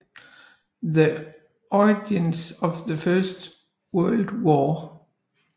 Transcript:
The Origins of the First World War